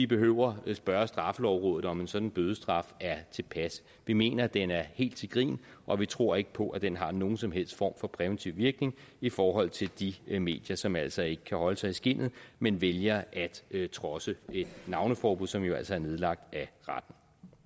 behøver at spørge straffelovrådet om en sådan bødestraf er tilpas vi mener at den er helt til grin og vi tror ikke på at den har nogen som helst form for præventiv virkning i forhold til de medier som altså ikke kan holde sig i skindet men vælger at trodse et navneforbud som jo altså er nedlagt af retten